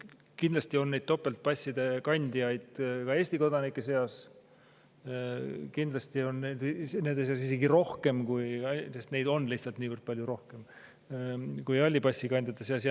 Kindlasti on topeltpasside kandjaid ka Eesti kodanike seas ja on isegi rohkem, sest neid inimesi on meil lihtsalt palju rohkem kui halli passi kandjaid.